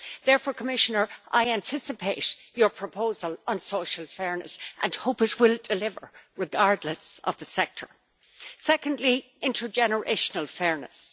Therefore, Commissioner, I anticipate your proposal on social fairness and hope it will deliver, regardless of the sector. Secondly, intergenerational fairness.